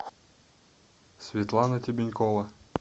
светлана тебенькова